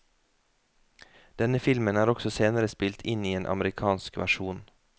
Denne filmen er også senere spilt inn i en amerikansk versjon.